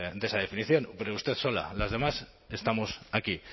de esa definición pero usted sola las demás estamos aquí